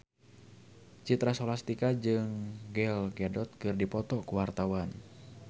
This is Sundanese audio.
Citra Scholastika jeung Gal Gadot keur dipoto ku wartawan